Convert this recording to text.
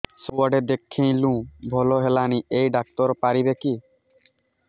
ସବୁଆଡେ ଦେଖେଇଲୁ ଭଲ ହେଲାନି ଏଇ ଡ଼ାକ୍ତର ପାରିବେ କି